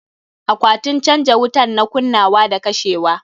Akwatin canja wutan na kunnawa da kashewa.